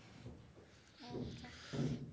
હમ્મ